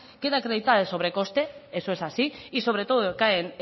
queda acreditado el sobrecoste eso es así y sobre todo recae